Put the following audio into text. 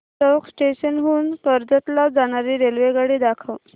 चौक station हून कर्जत ला जाणारी रेल्वेगाडी दाखव